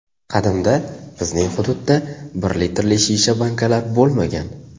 Qadimda bizning hududda bir litrli shisha bankalar bo‘lmagan.